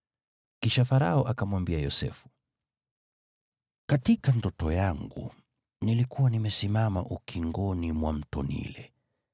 Kisha Farao akamwambia Yosefu, “Katika ndoto yangu nilikuwa nimesimama ukingoni mwa Mto Naili,